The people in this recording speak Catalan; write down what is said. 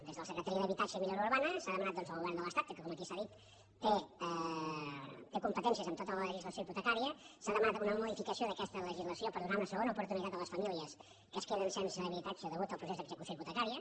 des de la secretaria d’habitatge i millora urbana s’ha demanat doncs al govern de l’estat que com aquí s’ha dit té competències en tota la legislació hipotecària s’ha demanat una modificació d’aquesta legislació per donar una segona oportunitat a les famílies que es queden sense habitatge a causa del procés d’execució hipotecària